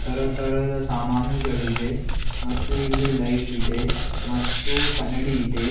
ತರತರದ ಸಾಮಾನುಗಳಿವೆ ಮತ್ತು ಇಲ್ಲಿ ಲೈಟ್ ಇದೆ ಮತ್ತು ಕನ್ನಡಿ ಇದೆ.